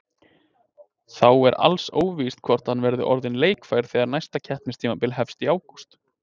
Þá er alls óvíst hvort hann verði orðinn leikfær þegar næsta keppnistímabil hefst í ágúst.